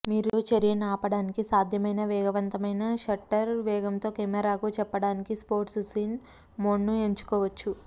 మీరు చర్యను ఆపడానికి సాధ్యమైన వేగవంతమైన షట్టర్ వేగంతో కెమెరాకు చెప్పడానికి స్పోర్ట్స్ సీన్ మోడ్ను ఎంచుకోవచ్చు